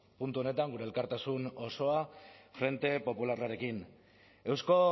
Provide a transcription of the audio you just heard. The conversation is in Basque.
puntu honetan gure elkartasun osoa frente popularrarekin eusko